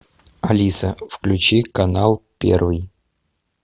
алиса включи канал первый